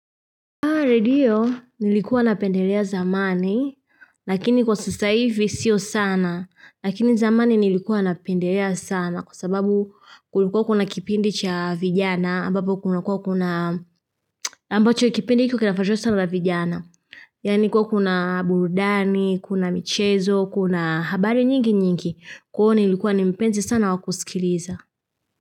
Aredio, nilikuwa napendelea zamani, lakini kwa sasa hivi sio sana, lakini zamani nilikuwa napendelea sana, kwa sababu kulikuwa kuna kipindi cha vijana, ambapo kuna kuwa kuna, ambacho kipindi hicho kinafuatiliwa sana na vijana. Yani kuwa kuna burudani, kuna michezo, kuna habari nyingi nyingi, kuwa nilikuwa nimpenzi sana wa kusikiliza.